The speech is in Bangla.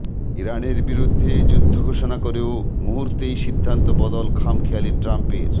ইরানের বিরুদ্ধে যুদ্ধ ঘোষণা করেও মুহূর্তেই সিদ্ধান্ত বদল খামখেয়ালি ট্রাম্পের